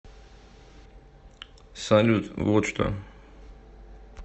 салют вот что